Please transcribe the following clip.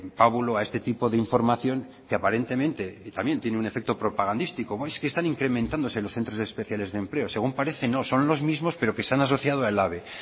pábulo a este tipo de información que aparentemente también tiene un efecto propagandístico es que están incrementándose los centros especiales de empleo según parece no son los mismos pero que se han asociado a elhabe